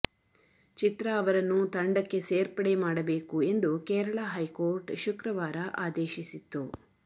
ಚಿತ್ರಾ ಅವರನ್ನು ತಂಡಕ್ಕೆ ಸೇರ್ಪಡೆ ಮಾಡಬೇಕು ಎಂದು ಕೇರಳ ಹೈಕೋರ್ಟ್ ಶುಕ್ರವಾರ ಆದೇಶಿಸಿತ್ತು